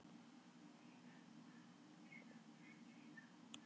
Kannski fengjum við bakreikning frá blessuðum skattinum fyrir beyglað og brotið barnagull?